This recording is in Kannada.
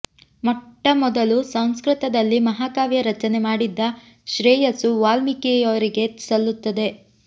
ಮೊಟ್ಟ ಮೊದಲು ಸಂಸ್ಕೃತದಲ್ಲಿ ಮಹಾಕಾವ್ಯ ರಚನೆ ಮಾಡಿದ್ದ ಶ್ರೇಯಸ್ಸು ವಾಲ್ಮೀಕಿಯವರಿಗೆ ಸಲ್ಲುತ್ತದೆ